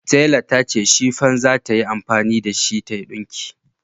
Tela ta ce shifan za ta yi amfani da shi tayi dinki